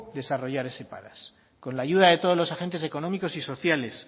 desarrollar ese padas con la ayuda de todos los agentes económicos y sociales